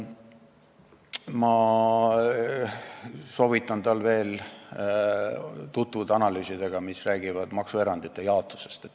Ma soovitan tal veel tutvuda analüüsidega, mis räägivad maksuerandite jaotusest.